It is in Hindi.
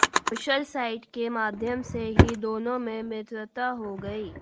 सोशल साइट के माध्यम से ही दोनों में मित्रता हो गई